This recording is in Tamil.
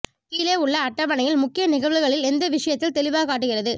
கீழே உள்ள அட்டவணையில் முக்கிய நிகழ்வுகளில் எந்த விஷயத்தில் தெளிவாகக் காட்டுகிறது